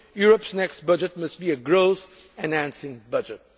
Europe's next budget must be a growth enhancing budget.